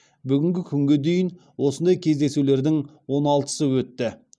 бүгінгі күнге дейін осындай кездесулердің он алтысы өтті